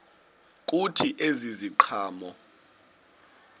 kuthi ezi ziqhamo